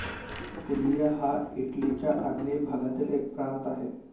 Puglia हा इटलीच्या आग्नेय भागातील एक प्रांत आहे